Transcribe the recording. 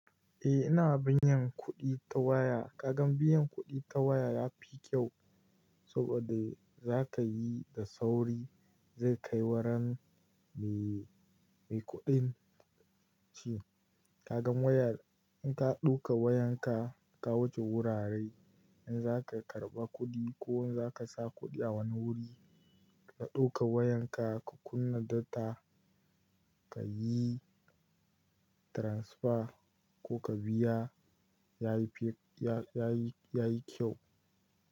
Eh ina binye kuɗi ta waya. Kaga biyan kuɗi ta waya yafi kyau saboda za kayi da sauri zai kai wurin mai kuɗin ce. Kaga waya in ka ɗauka wayan ka ka wuce wurare in zaka karɓa kuɗi ko in zaka sa kuɗi a wani wuri ka ɗauka wayan ka ka kunna data kayi transfer ko ka biya yayi kyau.